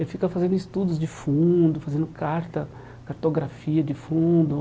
Ele fica fazendo estudos de fundo, fazendo carta cartografia de fundo.